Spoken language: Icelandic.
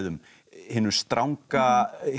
hinum stranga